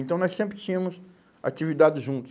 Então, nós sempre tínhamos atividades juntos.